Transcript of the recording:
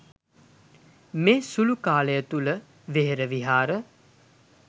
මේ සුළු කාලය තුළ වෙහෙර විහාර